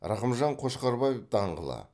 рақымжан қошқарбаев даңғылы